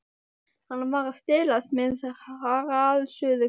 Hann var að stelast með hraðsuðuketil.